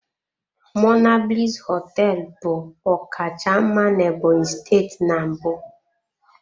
Monablis hoteelu bu ọkacha mma na Ebonyi steeti na mbụ.